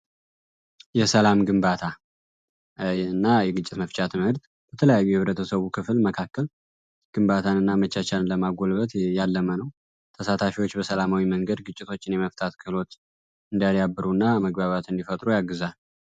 የሰላም ግንባታ የግጭት መፍቻ ትምህርት በተለያዩ ክፍል መካከል ግንባታና መቻቻል ለማጎልበት ነው ተሳታፊዎች በሰላማዊ መንገድ ግጭቶችን መፍታት ብሩና መግባባት እንዲፈጥሩ ያግዛል።